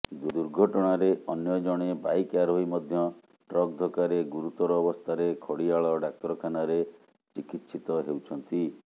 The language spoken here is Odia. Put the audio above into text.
ଦୁର୍ଘଟଣାରେ ଅନ୍ୟ ଜଣେ ବାଇକ ଆରୋହୀ ମଧ୍ୟ ଟ୍ରକ୍ ଧକ୍କାରେ ଗୁରୁତର ଅବସ୍ଥାରେ ଖଡ଼ିଆଳ ଡାକ୍ତରଖାନାରେ ଚିକିତ୍ସିତ ହେଉଛନ୍ତି